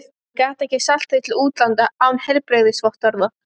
Hann gat ekki selt þau til útlanda án heilbrigðisvottorða.